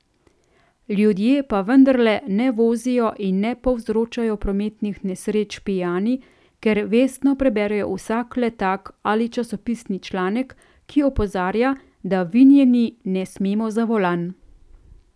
Ljudje pa vendarle ne vozijo in ne povzročajo prometnih nesreč pijani, ker vestno preberejo vsak letak ali časopisni članek, ki opozarja, da vinjeni ne smemo za volan.